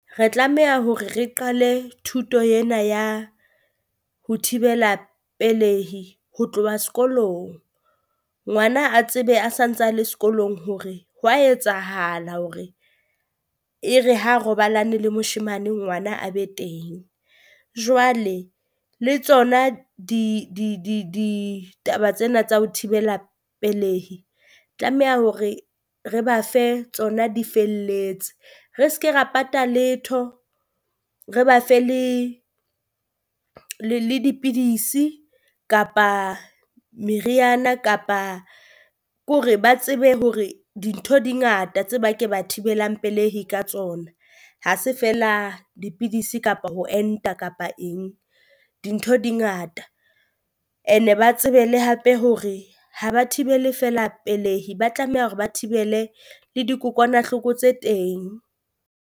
Re tlameha hore re qale thuto ena ya ho thibela pelehi ho tloha sekolong, ngwana a tsebe a santsa a le sekolong hore hwa etsahala hore e re ha robalane le moshemane ngwana a be teng. Jwale le tsona di di di ditaba tsena tsa ho thibela pelehi tlameha hore re ba fe tsona di felletse, re se ke ra patala letho, re ba fe le le dipidisi kapa meriana kapa ke hore ba tsebe hore dintho di ngata tse ba ke ba thibelang pelehi ka tsona. Ha se feela dipidisi kapa ho enta kapa eng, dintho di ngata and-e ba tsebe le hape hore ha ba thibele fela pelehi, ba tlameha hore ba thibele le dikokwanahloko tse teng.